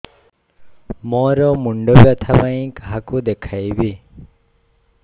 ମୋର ମୁଣ୍ଡ ବ୍ୟଥା ପାଇଁ କାହାକୁ ଦେଖେଇବି